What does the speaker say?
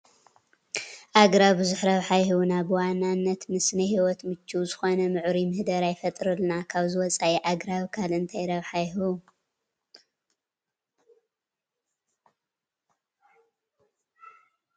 ኣግራብ ብዙሕ ረብሓ ይሁብና፡፡ ብዋናነት ንስነ ህይወት ምቹው ዝኾነ ምዕሩይ ምህዳር ይፈጥሩልና፡፡ ካብዚ ወፃኢ ኣግራብ ካልእ እንታይ ረብሓ ይሁቡ ትብሉ?